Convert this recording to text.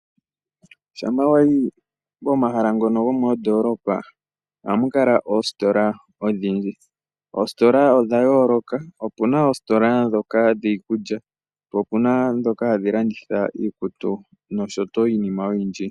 Shampa wayi pomahala ngono gomoondoolopa, ohamu kala oositola odhindji. Oositola odha yooloka, opuna oositola ndhoka dhiikulya, po opuna ndhoka hadhi landitha iikutu, noshowo iinima oyindji.